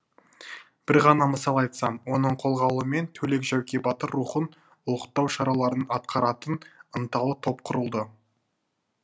бір ғана мысал айтсам оның қолға алуымен төлек жәуке батыр рухын ұлықтау шараларын атқаратын ынталы топ құрылды